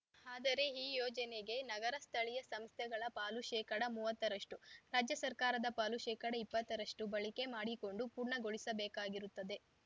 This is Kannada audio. ಆದರೆ ಈ ಯೋಜನೆಗೆ ನಗರ ಸ್ಥಳೀಯ ಸಂಸ್ಥೆಗಳ ಪಾಲು ಶೇಕಡ ಮುವತ್ತ ರಷ್ಟು ರಾಜ್ಯ ಸರ್ಕಾರದ ಪಾಲು ಶೇಕಡ ಇಪ್ಪತ್ತ ರಷ್ಟುಬಳಕೆ ಮಾಡಿಕೊಂಡು ಪೂರ್ಣಗೊಳಿಸಬೇಕಾಗಿರುತ್ತದೆ